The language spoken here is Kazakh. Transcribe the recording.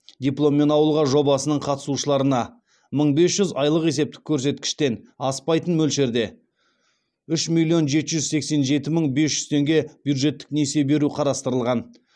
дипломмен ауылға жобасының қатысушыларына мың бес жүз айлық есептік көрсеткіштен аспайтын мөлшерде үш миллион жеті жүз сексен жеті мың бес жүз теңге бюджеттік несие беру қарастырылған